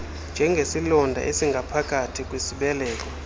njengesilonda esingaphakathi kwisibeleko